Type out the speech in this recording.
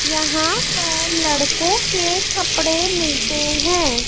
यहां पर लड़कों के कपड़े मिलते हैं।